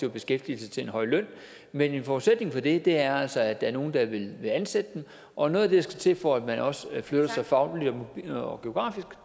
i beskæftigelse til en høj løn men en forudsætning for det er altså at der er nogle der vil ansætte dem og noget af det til for at man også flytter sig fagligt og geografisk